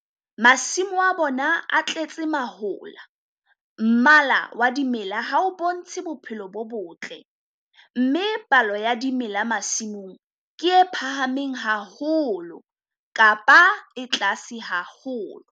- masimo a bona a tletse mahola, mmala wa dimela ha o bontshe bophelo bo botle, mme palo ya dimela masimong ke e phahameng haholo kapa e tlase haholo.